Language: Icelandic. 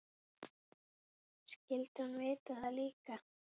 Skyldi hún vita það líka?